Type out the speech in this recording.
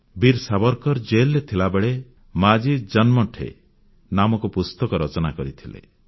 ବୀର ସାବରକର୍ ଜେଲରେ ଥିଲାବେଳେ ମାଝି ଜନ୍ମଠେ ନାମକ ପୁସ୍ତକ ରଚନା କରିଥିଲେ